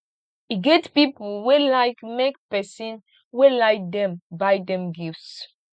e get pipo wey like make pesin wey like dem buy dem gifts